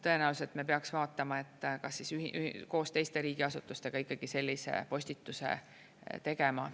Tõenäoliselt me peaks vaatama, et kas koos teiste riigiasutustega sellise postituse tegema.